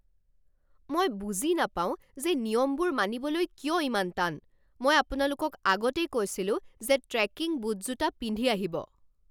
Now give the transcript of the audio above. মই বুজি নাপাও যে নিয়মবোৰ মানিবলৈ কিয় ইমান টান। মই আপোনালোকক আগতেই কৈছিলো যে ট্ৰেকিং বুট জোতা পিন্ধি আহিব।